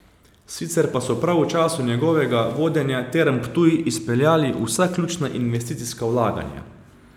Sicer pa so prav v času njegovega vodenja Term Ptuj izpeljali vsa ključna investicijska vlaganja.